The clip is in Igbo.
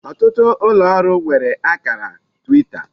otutu ulooru nwere akara Twita.